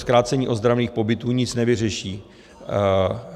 Zkrácení ozdravných pobytů nic nevyřeší.